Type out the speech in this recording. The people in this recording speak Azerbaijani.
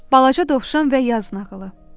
Balaca dovşan və yaz nağılı.